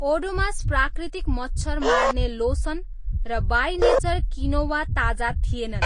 ओडोमोस प्राकृतिक मच्छर मार्ने लोसन र बाई नेचर क्विनोवा ताजा थिएनन्।